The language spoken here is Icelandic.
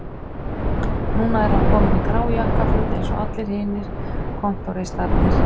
Núna er hann kominn í grá jakkaföt eins og allir hinir kontóristarnir